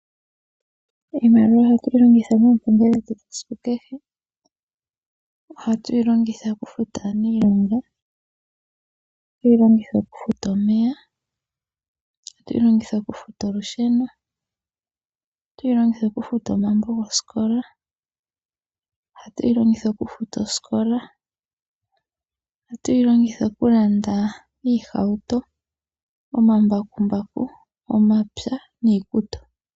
Iimaliwa ohatu yi longitha moompumbwe dhetu dhesiku kehe. Ohatu yi longitha okufuta aaniilonga. Ohatu yi longitha okufuta omeya. Ohatu yi longitha okufuta olusheno. Ohatu yi longitha okufuta omambo gosikola. Ohatu yi longitha okufuta osikola. Ohatu yi longitha okulanda omahauto, omambakumbaku, omapya niikutu.